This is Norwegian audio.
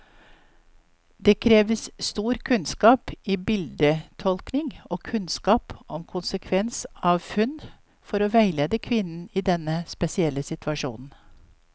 Det krever stor kunnskap i bildetolkning og kunnskap om konsekvens av funn, for å veilede kvinnen i denne spesielle situasjonen.